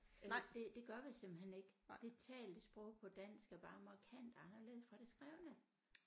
Det det gør vi simpelthen ikke det talte sprog på dansk er bare markant anderledes fra det skrevne